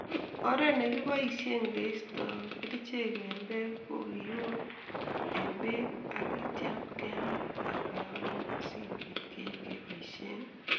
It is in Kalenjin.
Oret nekiboishe keistoi kerichek en bek ko kiun en bek akityam kemaa akoyomyo sikobit keib keiboshen